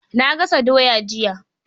Na gas doya jiya.